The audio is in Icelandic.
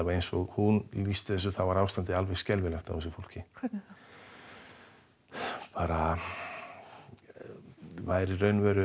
eins og hún lýsti þessu var ástandið alveg skelfilegt á þessu fólki hvernig þá það væri í raun og veru